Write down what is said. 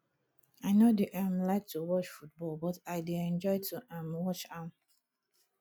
i no dey um like to watch football but i dey enjoy to um watch am